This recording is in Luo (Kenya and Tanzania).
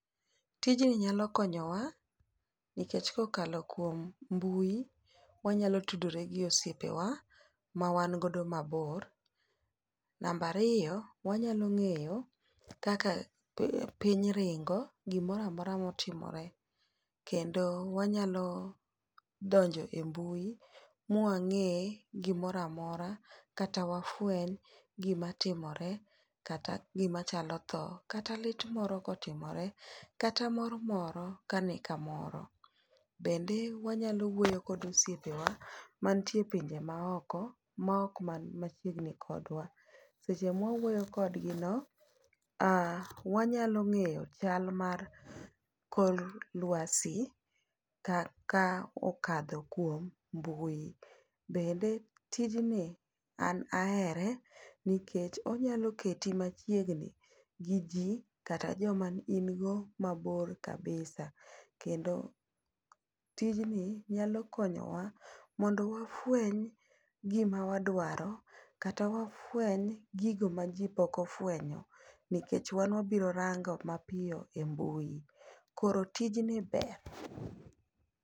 tijni nyalo konyowa nikech kokalo kuom mbui wanyalo tudore gi osiepewa ma wan godo mabor ,namab ariyo wanyalo ng'eyo kaka piny ring'o gimora mora motimore ,kendo wanyalo donjo e mbui mwang'e gimora mora kata wafweny gima timore kata gima chalo tho kata lit moro kotimore kata mor moro kani kamoro ,bende wanyalo wuoyo kod osiepewa mantie e pinje maoko ma ok man machiegni kodwa, seche mwa wuoyo kodgi no wanyalo ng'eyo chal mar kor lwasi kaka okadho kuom mbui ,bedne tijni an ahere nikech onyalo keti machiegni gi ji kata joam on go mabor kabisa kata tijni nyalo konyowa mondo wafweny gima wadwaro kata wafweny gigo maji pok ofwenyo nikech wan wabiro rango mapiyo e mbui koro tijni ber